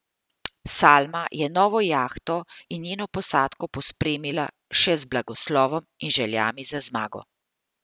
Salma je novo jahto in njeno posadko pospremila še z blagoslovom in željami za zmago.